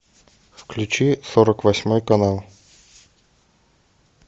включи сорок восьмой канал